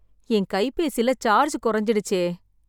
என் கைபேசில சார்ஜ் கொறஞ்சிடுச்சே..